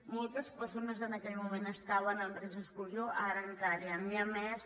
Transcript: moltes persones en aquell moment estaven en risc d’exclusió ara encara n’hi ha més